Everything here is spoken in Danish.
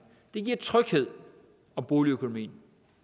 det giver tryghed om boligøkonomien